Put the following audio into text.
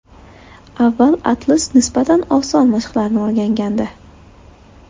Avval Atlas nisbatan oson mashqlarni o‘rgangandi.